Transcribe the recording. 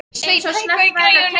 Sveinn, hækkaðu í græjunum.